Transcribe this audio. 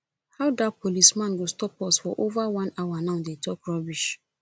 how dat policeman go stop us for over one hour now dey talk rubbish